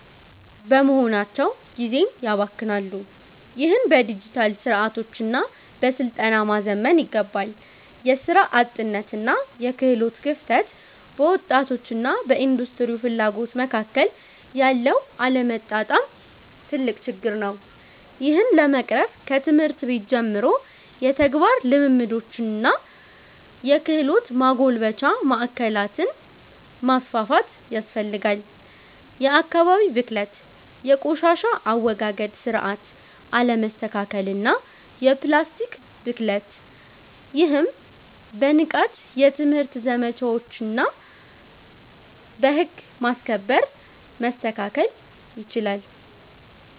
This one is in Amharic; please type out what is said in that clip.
በመሆናቸው ጊዜን ያባክናሉ። ይህንን በዲጂታል ስርዓቶችና በስልጠና ማዘመን ይገባል። የሥራ አጥነትና የክህሎት ክፍተት፦ በወጣቶችና በኢንዱስትሪው ፍላጎት መካከል ያለው አለመጣጣም ትልቅ ችግር ነው። ይህን ለመቅረፍ ከትምህርት ቤት ጀምሮ የተግባር ልምምዶችንና የክህሎት ማጎልበቻ ማዕከላትን ማስፋፋት ያስፈልጋል። የአካባቢ ብክለት፦ የቆሻሻ አወጋገድ ስርዓት አለመስተካከልና የፕላስቲክ ብክለት። ይህም በንቃት የትምህርት ዘመቻዎችና በህግ ማስከበር መስተካከል ይችላል።